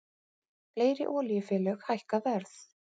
Fleiri olíufélög hækka verð